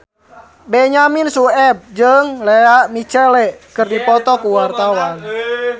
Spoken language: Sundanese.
Benyamin Sueb jeung Lea Michele keur dipoto ku wartawan